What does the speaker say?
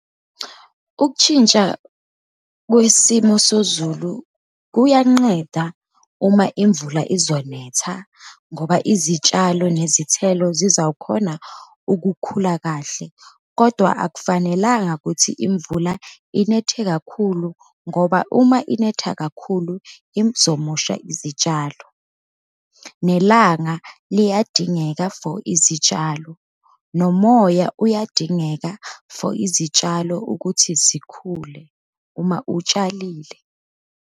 Ukutshintsha kwesimo sozulu kuyanqeda uma imvula izonetha, ngoba izitshalo nezithelo zizawukhona ukukhula kahle. Kodwa akufanelanga kuthi imvula inethe kakhulu, ngoba uma inetha kakhulu izomosha izitshalo, nelanga liyadingeka for izitshalo, nomoya uyadingeka for izitshalo ukuthi zikhule, uma utshalile.